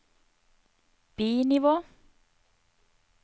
bi-nivå